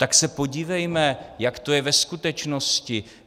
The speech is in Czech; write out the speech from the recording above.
Tak se podívejme, jak to je ve skutečnosti.